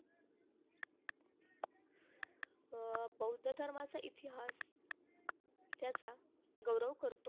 अं बौद्ध धर्माचा इतिहास त्याचा गौरव करतो.